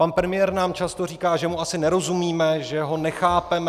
Pan premiér nám často říká, že mu asi nerozumíme, že ho nechápeme.